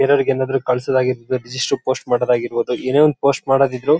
ಬೇರೆಯವ್ರಿಗ್ ಏನಾದ್ರು ಕಳ್ಸ್ ದ್ ಆಗಿರಬೋದು ರಿಜಿಸ್ಟ್ರ ಪೋಸ್ಟ್ ಮಾಡೋದ್ ಆಗಿರಬೋದು ಏನೇ ಒಂದ್ ಪೋಸ್ಟ್ ಮಾಡೋದಿದ್ರು.